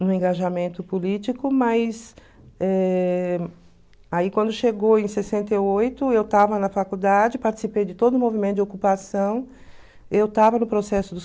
no engajamento político, mas eh aí quando chegou em sessenta e oito, eu estava na faculdade, participei de todo o movimento de ocupação, eu estava no processo